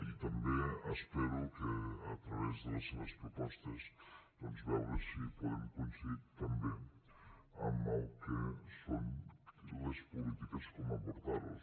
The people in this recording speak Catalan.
i també espero que a través de les seves propostes doncs veure si podem coincidir també amb el que són les polítiques com abordar ho